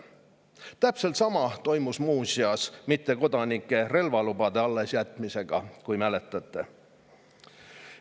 Täpselt sama toimus muuseas mittekodanikele relvalubade allesjätmisega, võib-olla mäletate.